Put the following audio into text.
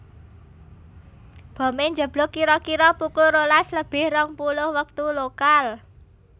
Bomé njeblug kira kira pukul rolas lebih rong puluh wektu lokal